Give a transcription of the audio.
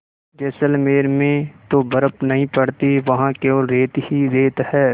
जैसलमेर में तो बर्फ़ नहीं पड़ती वहाँ केवल रेत ही रेत है